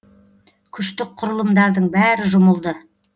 күштік құрылымдардың бәрі жұмылды